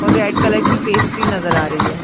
और red colour की pastry नजर आ रही है।